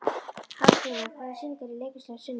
Hafsteina, hvaða sýningar eru í leikhúsinu á sunnudaginn?